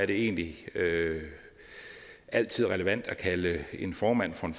det egentlig altid er relevant at kalde en formand for en